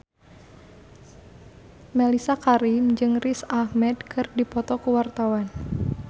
Mellisa Karim jeung Riz Ahmed keur dipoto ku wartawan